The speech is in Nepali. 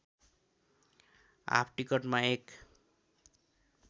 हाफ टिकटमा एक